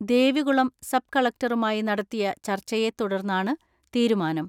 Devikulam sub കളക്ടറുമായി നടത്തിയ ചർച്ചയെ തുടർന്നാണ് തീരുമാനം.